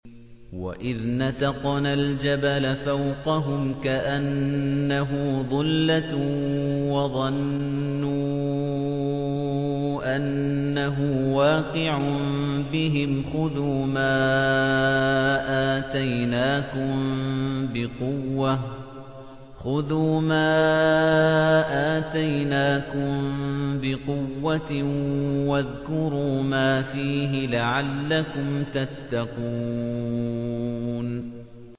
۞ وَإِذْ نَتَقْنَا الْجَبَلَ فَوْقَهُمْ كَأَنَّهُ ظُلَّةٌ وَظَنُّوا أَنَّهُ وَاقِعٌ بِهِمْ خُذُوا مَا آتَيْنَاكُم بِقُوَّةٍ وَاذْكُرُوا مَا فِيهِ لَعَلَّكُمْ تَتَّقُونَ